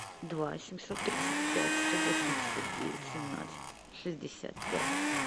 два семьсот тридцать пять сто восемьдесят девять семнадцать шестьдесят пять